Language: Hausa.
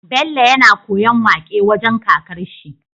Bello yAna koyan waƙe wajan kakar shi